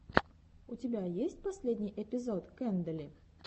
у тебя есть последний эпизод кэндэли